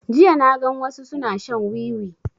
Jiya na gan su suna shan wiwi